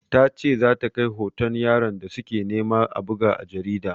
Ta ce za ta kai hoton yaron da su ke nema a buga a jarida.